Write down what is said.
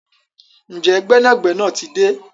Njé gbénàgbénà tí dé?